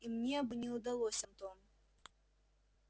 и мне бы не удалось антон